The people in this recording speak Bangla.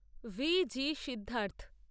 V G Siddharth